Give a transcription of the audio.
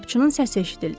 Qapıçının səsi eşidildi.